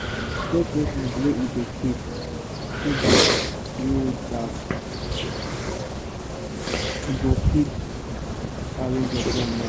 check record wey you da keep so dat you dat you go fit arrange your plan wella